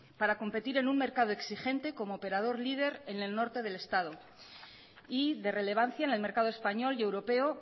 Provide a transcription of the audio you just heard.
para competir en un mercado exigente como operador líder en el norte del estado y de relevancia en el mercado español y europeo